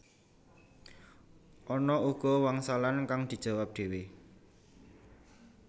Ana uga wangsalan kang dijawab dhéwé